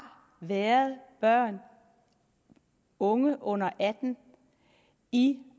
været børn og unge under atten år i